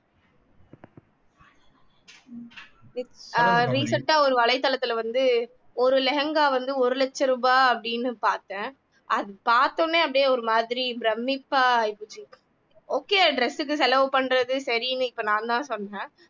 ஆஹ் recent அ ஒரு வலைத்தளத்துல வந்து ஒரு lehenga வந்து ஒரு லட்ச ரூபாய் அப்படின்னு பார்த்தேன் அது பார்த்த உடனே அப்படியே ஒரு மாதிரி பிரமிப்பா ஆயிப்போச்சு okay dress க்கு செலவு பண்றது சரின்னு இப்ப நான்தான் சொன்னேன்